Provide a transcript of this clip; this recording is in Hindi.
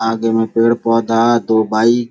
आगे में पेड़-पौधा दो बाइक --